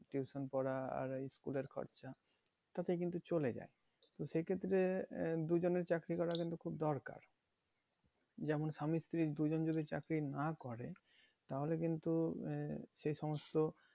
Tuition পড়া আর ওই school এর খরচা তাতে কিন্তু চলে যায়। কিন্তু সেই ক্ষেত্রে আহ দুজনেই চাকরি করা কিন্তু খুব দরকার। যেমন স্বামী স্ত্রী চাকরি যদি না করে তাহলে কিন্তু আহ সে সমস্ত